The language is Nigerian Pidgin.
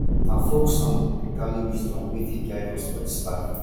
na folk music dey carry wisdom wey fit guide us for this life